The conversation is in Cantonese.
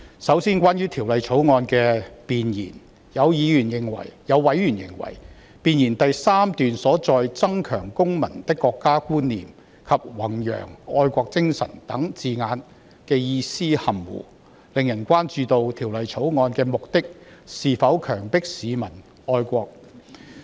首先，關於《條例草案》的弁言，有委員認為，弁言第3段中"增強公民的國家觀念"及"弘揚愛國精神"等字眼的意思含糊不清，令人關注《條例草案》的目的是否強迫市民愛國。